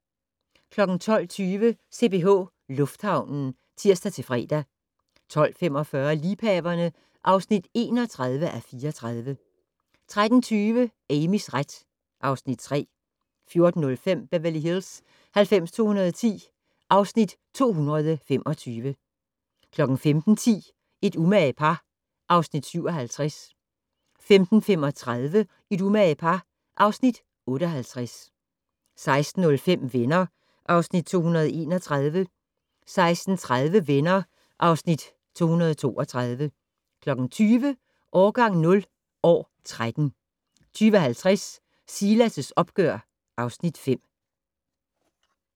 12:20: CPH Lufthavnen (tir-fre) 12:45: Liebhaverne (31:34) 13:20: Amys ret (Afs. 3) 14:05: Beverly Hills 90210 (Afs. 225) 15:10: Et umage par (Afs. 57) 15:35: Et umage par (Afs. 58) 16:05: Venner (Afs. 231) 16:30: Venner (Afs. 232) 20:00: Årgang 0 - år 13 20:50: Silas' opgør (Afs. 5)